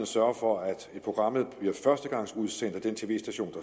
sørge for at programmet bliver førstegangsudsendt af den tv station